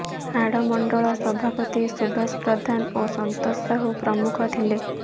ହାଡ଼ ମଣ୍ଡଳ ସଭାପତି ସୁବାସ ପ୍ରଧାନ ଓ ସନ୍ତୋଷ ସାହୁ ପ୍ରମୁଖ ଥିଲେ